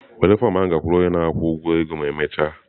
Were fọm ahụ gakwuru onye na-akwụ ụgwọ ego ma emechaa!